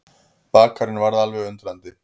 Bakarinn varð alveg undrandi.